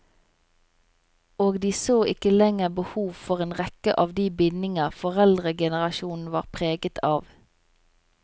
Og de så ikke lenger behov for en rekke av de bindinger foreldregenerasjonen var preget av.